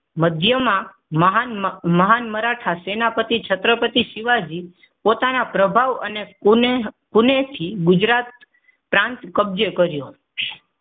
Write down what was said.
મધ્યમાં મહાન મહાન મરાઠા સેનાપતિ છત્રપતિ શિવાજી પોતાના પ્રભાવ અને કુનેહથી ગુજરાત પ્રાંત કબજે કર્યું.